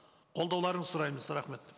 қолдауларыңызды сұраймыз рахмет